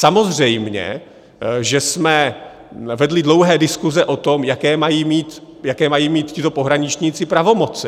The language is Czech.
Samozřejmě že jsme vedli dlouhé diskuse o tom, jaké mají mít tito pohraničníci pravomoci.